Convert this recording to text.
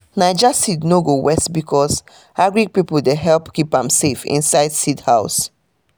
naija seed no go waste becos agric pipo dey help keep am safe inside seed house